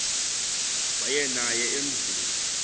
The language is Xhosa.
waya naye emzini